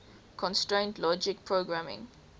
constraint logic programming